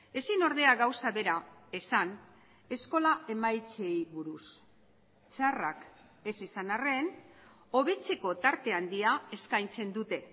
ezin ordea gauza bera esan eskola emaitzei buruz txarrak ez izan arren hobetzeko tarte handia eskaintzen dute